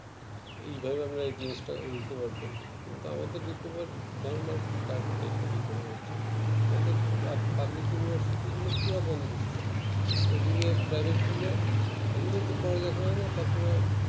এইভাবে আমরা এই জিনিসটা recover করবো কিন্তু আমাদের recover ধারণা cared এর